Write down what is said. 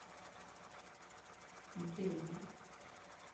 дельма